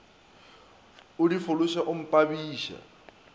o di fološe o mpabiša